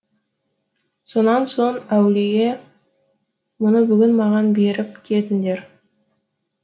сонан соң әулие мұны бүгін маған беріп кетіңдер